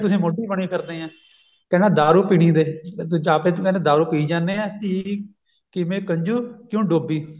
ਮੋਢੀ ਬਣੀ ਫਿਰਦੇ ਆ ਕਹਿੰਦਾ ਦਾਰੂ ਪੀਣੀ ਦੇ ਵੀ ਆਪਸ ਚ ਦਾਰੂ ਪੀਈ ਜਾਂਦੇ ਆ ਧੀ ਕੀ ਮੈਂ ਕਿਵੇਂ ਕੰਜੂ ਕਿਉਂ ਡੋਬੀ ਮੈਂ